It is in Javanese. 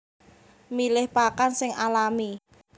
Milih pakan sing alami